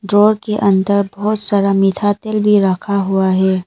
Drawer के अंदर बहुत सारा मीठा तेल भी रखा हुआ है।